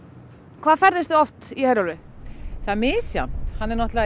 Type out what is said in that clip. hvað ferðist þið oft í Herjólfi það er misjafnt hann er náttúrulega í